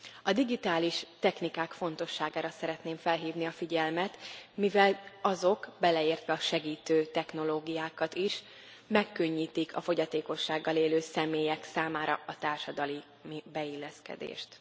A digitális technikák fontosságára szeretném felhívni a figyelmet, mivel azok, beleértve a segítő technológiákat is, megkönnyítik a fogyatékossággal élő személyek számára a társadalmi beilleszkedést.